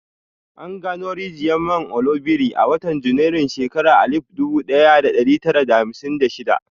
An gano rijiyar man Oloibiri a watan Janairun shekarar alif dubu ɗaya da ɗari tara da hamsin da shida.